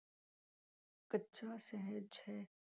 ਕੱਚਾ ਸਹਿਜ ਹੈ।